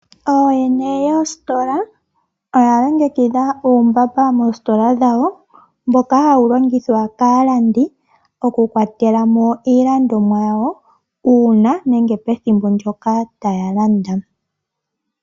Ooyene yoositola oya longekidha uumbamba moositola dhawo mboka hawu longithwa kaalandi okukwatela mo iilandomwa yawo uuna nenge pethimbo ndyoka taya landa.